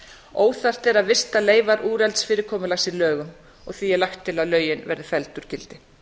óþarft er að vista leifar úrelts fyrirkomulags í lögum og því er lagt til að lögin verði felld úr gildi